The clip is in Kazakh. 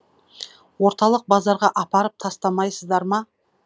орталық базарға апарып тастамайсыздар ма